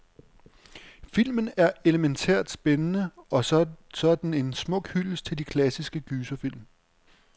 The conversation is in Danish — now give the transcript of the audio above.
Filmen er elemæntært spændende, og så er den en smuk hyldest til de klassiske gyserfilm.